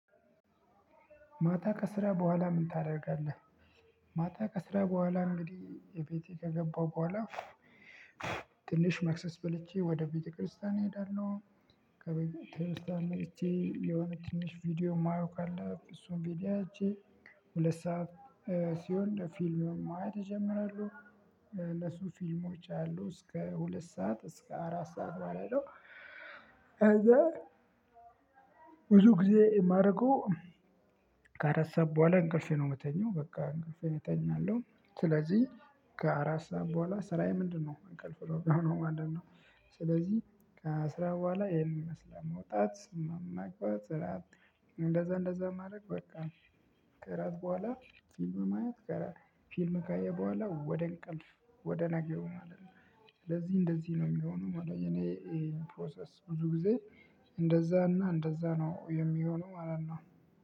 ማታ ከስራ በኋላ ምን ታደርጋለህ? ማታ ከስራ በኋላ እንግዲህ እቤቴ ከገባው በኋላ። ትንሽ መክሰስ በልቼ ወደ ቤተክርስቲያን እሄዳለሁ። ከቤተክርስቲያን እቺ የሆነ ትንሽ ቪዲዮ የማየው ካለ እሱን ቪዲዮ አይቼ ሁለት ሰዓት ሲሆን ፊልም ማየት ይጀምራሉ። ለሱ ፊልሞች አሉ እስከ ሁለት ሰዓት እስከ አራት ሰዓት ባለው ከዛ። ብዙ ጊዜ የማደርገው ከአራት ሰዓት በኋላ እንቅልፌን ነው የምተኛው በቃ እንቅልፌን እተኛለሁ። ስለዚህ ከአራት ሰዓት በኋላ ስራዬ ምንድነው እንቅልፍ ነው ምሆነው ማለት ነው። ስለዚህ ከስራ በኋላ ይሄን ይመስላል መውጣት ስምም ማግባት። እንደዛ እንደዛ ማድረግ በቃ። ከእራት በኋላ ፊልም ማየት ጋር ፊልም ካየሁ በኋላ ወደ እንቅልፍ ወደ ነገው ማለት ነው። ስለዚህ እንደዚህ ነው የሚሆነው እኔ። ፕሮሰስ ብዙ ጊዜ እንደዛና እንደዛ ነው የሚሆነው ማለት ነው።